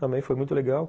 Também foi muito legal.